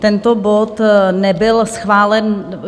Tento bod nebyl schválen.